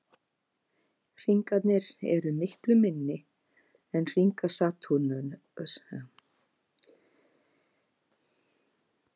Hringarnir eru miklu minni en hringar Satúrnusar og líkjast einna helst hringum Úranusar.